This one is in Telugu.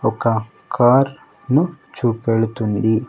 ఒక కార్ ను చూపెడుతుంది.